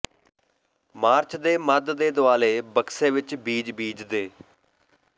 March ਦੇ ਮੱਧ ਦੇ ਦੁਆਲੇ ਬਕਸੇ ਵਿੱਚ ਬੀਜ ਬੀਜਦੇ